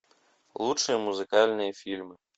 лучшие музыкальные фильмы